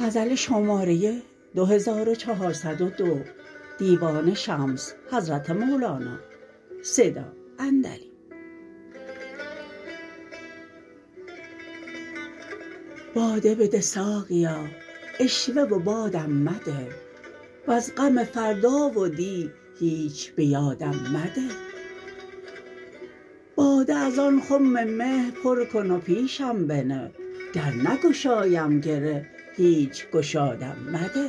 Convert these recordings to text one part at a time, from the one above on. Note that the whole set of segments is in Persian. باده بده ساقیا عشوه و بادم مده وز غم فردا و دی هیچ به یادم مده باده از آن خم مه پر کن و پیشم بنه گر نگشایم گره هیچ گشادم مده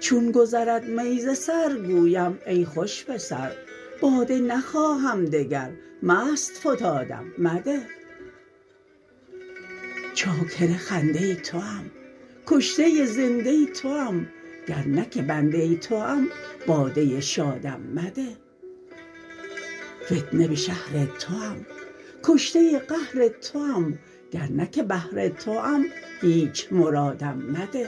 چون گذرد می ز سر گویم ای خوش پسر باده نخواهم دگر مست فتادم مده چاکر خنده توام کشته زنده توام گر نه که بنده توام باده شادم مده فتنه به شهر توام کشته قهر توام گر نه که بهر توام هیچ مرادم مده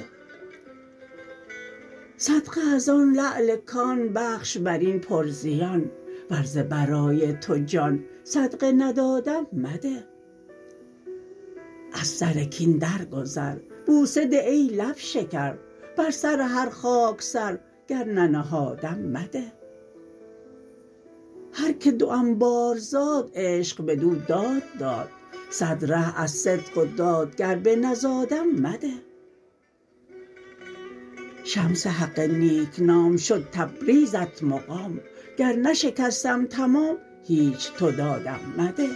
صدقه از آن لعل کان بخش بر این پرزیان ور ز برای تو جان صدقه ندادم مده از سر کین درگذر بوسه ده ای لب شکر بر سر هر خاک سر گر ننهادم مده هر که دوم بار زاد عشق بدو داد داد صد ره از صدق و داد گر بنزادم مده شمس حق نیک نام شد تبریزت مقام گر نشکستم تمام هیچ تو دادم مده